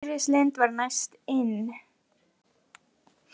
Íris Lind var næst inn